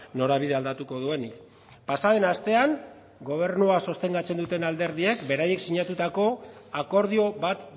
norabidea aldatuko duenik pasaden astean gobernua sostengatzen duten alderdiek beraiek sinatutako akordio bat